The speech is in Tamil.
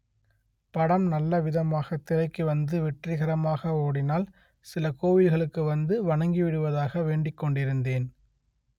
படம் நல்லவிதமாக திரைக்கு வந்து வெற்றிகரமாக ஓடினால் சில கோவில்களுக்கு வந்து வணங்கி விடுவதாக வேண்டிக்கொண்டிருந்தேன்